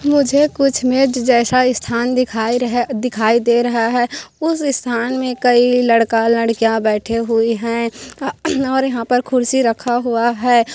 मुझे कुछ मेज जैसा स्थान दिखाई र दिखाई दे रहा है उस स्थान में कई लड़का-लड़किया बैठी हुई है और य यहाँ पर कुर्सी रखा हुआ है।